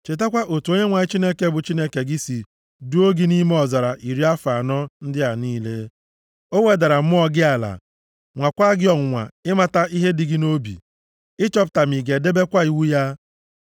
Chetakwa otu Onyenwe anyị bụ Chineke gị si duo gị nʼime ọzara iri afọ anọ ndị a niile. O wedara mmụọ gị ala, nwakwaa gị ọnwụnwa ịmata ihe dị gị nʼobi, ịchọpụta ma ị ga-edebekwa iwu ya.